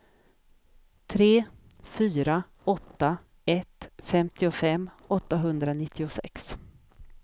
tre fyra åtta ett femtiofem åttahundranittiosex